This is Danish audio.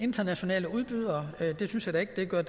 internationale udbydere det synes jeg da ikke gør